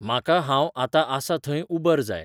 म्हाका हांव आतां आसां थंय उबर जाय